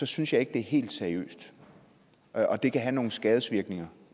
synes jeg ikke er helt seriøst og det kan have nogle skadevirkninger